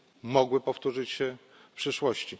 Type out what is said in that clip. mogły powtórzyć się w przyszłości.